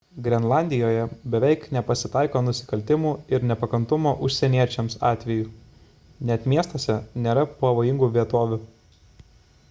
grenlandijoje beveik nepasitaiko nusikaltimų ir nepakantumo užsieniečiams atvejų net miestuose nėra pavojingų vietovių